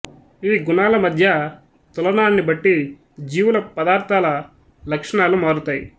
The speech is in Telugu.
ఈ గుణాల మధ్య తులనాన్ని బట్టి జీవుల పదార్ధాల లక్షణాలు మారుతాయి